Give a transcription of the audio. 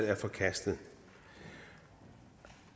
er forkastet